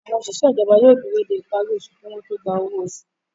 Àwọn òṣìṣẹ́ ìjọba yóò dúró dé ìparí osù kí wọ́n tó gba owó oṣù